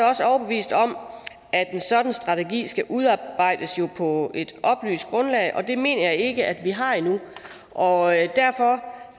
også overbevist om at en sådan strategi skal udarbejdes på et oplyst grundlag og det mener jeg ikke at vi har endnu og derfor